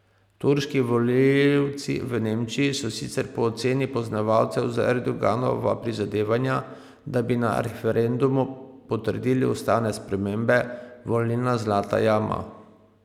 Turški volivci v Nemčiji so sicer po oceni poznavalcev za Erdoganova prizadevanja, da bi na referendumu potrdili ustavne spremembe, volilna zlata jama.